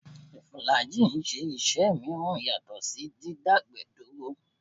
Fùlàájì ń ṣe iṣẹ́ mìíràn yàtọ̀ sí dídágbẹ̀ẹ́ dúró